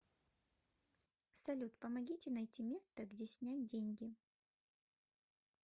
салют помогите найти место где снять деньги